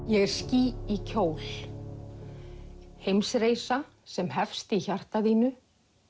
ég er ský í kjól sem hefst í hjarta þínu